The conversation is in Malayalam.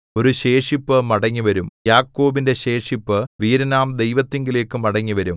ഒരു ശേഷിപ്പു മടങ്ങിവരും ശെയാർയാശൂബ് യാക്കോബിന്റെ ശേഷിപ്പു വീരനാം ദൈവത്തിങ്കലേക്ക് മടങ്ങിവരും